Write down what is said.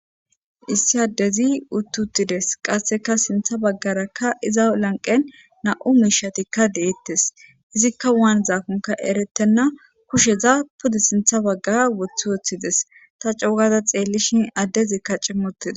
Issi addezi uttuttides qasseka sintha baggarakka iza lanqen na7u miishatikka deettes izikka waan zaakonka eretenna kusheza pude sintha baggaa woththi wooththides ta cougada xeellishin addezikka cimmuttida.